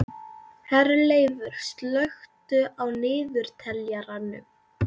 Herleifur, slökktu á niðurteljaranum.